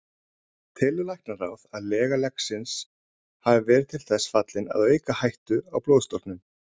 Telur læknaráð, að lega leggsins hafi verið til þess fallin að auka hættu á blóðstorknun?